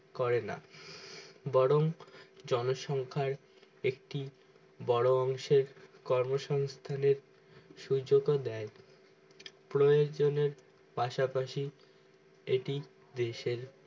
করেন বরং জন সংখ্যার একটি বোরো অংশের কর্ম সংহস্তানের সুযোগ ও দেয় প্রয়োজনের পাশাপাশি এটি দেশের